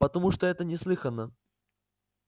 потому что это неслыханно